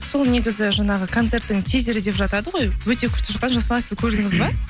сол негізі жаңағы концерттің тизері деп жатады ғой өте күшті шыққан жасұлан сіз көрдіңіз бе